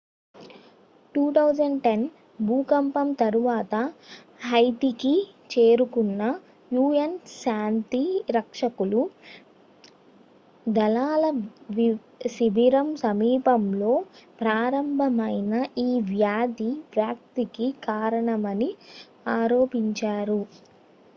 2010 భూకంపం తరువాత హైతీకి చేరుకున్న un శాంతి రక్షకులు దళాల శిబిరం సమీపంలో ప్రారంభమైన ఈ వ్యాధి వ్యాప్తికి కారణమని ఆరోపించారు